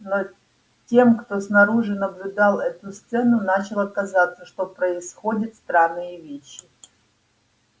но тем кто снаружи наблюдал эту сцену начало казаться что происходят странные вещи